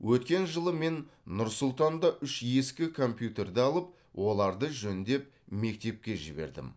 өткен жылы мен нұр сұлтанда үш ескі компьютерді алып оларды жөндеп мектепке жібердім